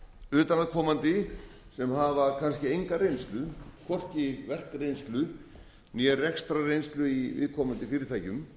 utanaðkomandi menn sem hafa hvorki enga reynslu hvorki verkreynslu né rekstrarreynslu í viðkomandi fyrirtækjum